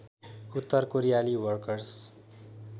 उत्तर कोरियाली वर्कर्स